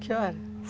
Que horas?